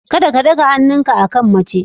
Kada ka ɗaga hannunka akan mace.